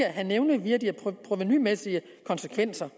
at have nævneværdige provenumæssige konsekvenser